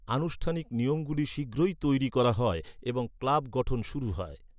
আনুষ্ঠানিক নিয়মগুলি শীঘ্রই তৈরি করা হয় এবং ক্লাব গঠন শুরু হয়।